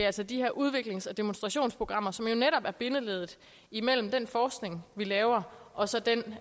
altså de her udviklings og demonstrationsprogrammer som jo netop er bindeleddet imellem den forskning vi laver og så den